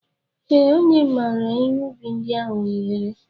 Ee, ọ nyemara ihe ubi ndị ahụ ohere.